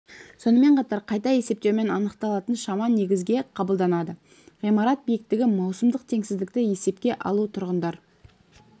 сонымен қатар қайта есептеумен анықталатын шама негізге қабылданады ғимарат биіктігі маусымдық теңсіздікті есепке алу тұрғындар